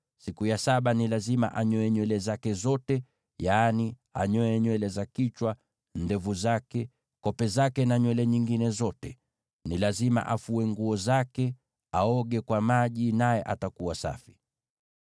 Siku ya saba ni lazima anyoe nywele zake zote; yaani anyoe nywele za kichwa, ndevu zake, kope zake na nywele nyingine zote. Ni lazima afue nguo zake, na aoge kwa maji, naye atakuwa safi.